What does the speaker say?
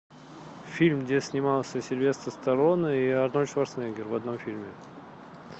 фильм где снимался сильвестр сталлоне и арнольд шварценеггер в одном фильме